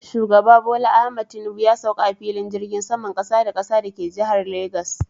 Shugaba Bola Ahmad Tinubu ya sauka a filin jirgin saman Kasa da kasa da ke jihar Legas.